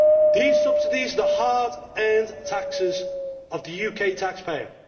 These subsidies are the hard earned taxes of the UK taxpayer.